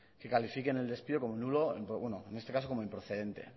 que califiquen el despido como nulo en este caso como improcedente